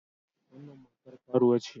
Wannan matar karuwa ce.